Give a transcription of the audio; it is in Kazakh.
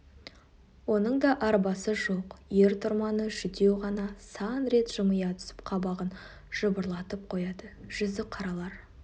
оның да арбасы жоқ ер-тұрманы жүдеу ғана сан рет жымия түсіп қабағын жыбырлатып қояды жүзіқаралар